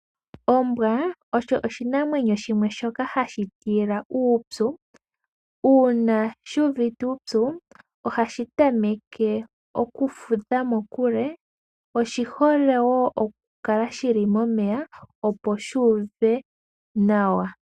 Ombwa osho ooshinamwenyo shimwe shoka hashi tila uupyu, uuna shuuvite uupyu ohashi tameke okufudha mokule. Oshihole wo okukala shili momeya opo shuuve nawa.